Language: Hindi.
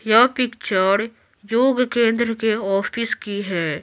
यह पिक्चर योग केंद्र के ऑफिस की है।